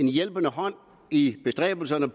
hjælpende hånd i de bestræbelser der